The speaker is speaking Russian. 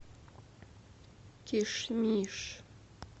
кишмиш